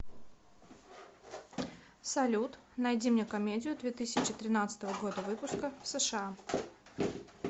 салют найди мне комедию две тысячи тринадцатого года выпуска в сша